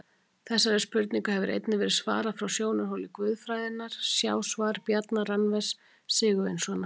Þessari spurningu hefur einnig verið svarað frá sjónarhóli guðfræðinnar, sjá svar Bjarna Randvers Sigurvinssonar.